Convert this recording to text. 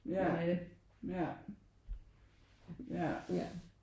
Ja ja ja